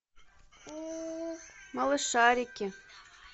малышарики